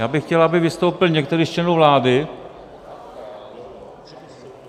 Já bych chtěl, aby vystoupil některý z členů vlády.